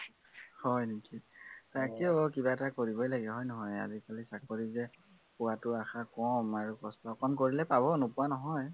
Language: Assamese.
হয় নেকি? তাকেই অ কিবা এটা কৰিবই লাগে, হয় নহয়। আজিকালি চাকৰি যে পোৱাটো আশা কম, আৰু কষ্ট অকন কৰিলে পাব নোপোৱা নহয়